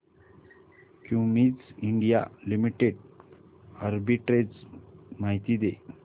Cummins India limited arbitrage माहिती दे